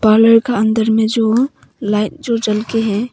Parlour का अंदर में जो लाइट जो जलके है।